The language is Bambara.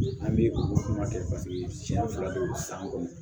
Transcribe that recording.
An bɛ o kuma kɛ paseke siɲɛ fila de don san kɔnɔ